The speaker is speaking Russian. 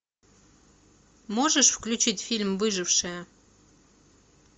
можешь включить фильм выжившая